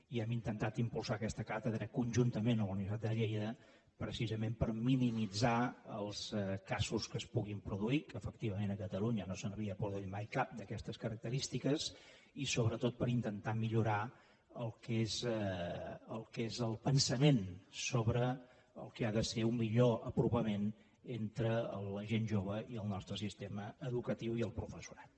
i hem intentat impulsar aquesta càtedra conjuntament amb la universitat de lleida precisament per minimitzar els casos que es puguin produir que efectivament a catalunya no se n’havia produït mai cap d’aquestes característiques i sobretot per intentar millorar el que és el pensament sobre el que ha de ser un millor apropament entre la gent jove i el nostre sistema educatiu i el professorat